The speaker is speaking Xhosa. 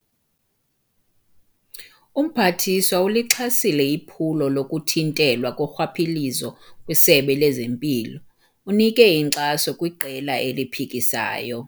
Umphathiswa ulixhasile iphulo lokuthintelwa korhwaphilizo kwisebe lempilo. unike inkxaso kwiqela eliphikisayo